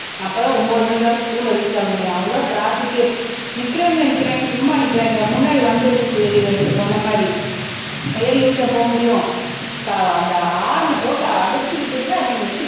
அப்பதான் ஒன்பது மணிக்காவது ஸ்கூல்ல ரீச் ஆக முடியும் அவ்வளவு ட்ராபிக்ஏ நிக்கிறவங்க நிக்கிறாங்க சும்மா நிக்கிறாங்களா முன்னாடி வண்டி இருக்குறது தெரியுது இல்ல நீங்க சொன்ன மாதிரி ஏறி போக முடியும் அஹ் அந்த ஹாரன போட்டு அடிச்சுக்கிட்டேதான் இருக்கானுங்க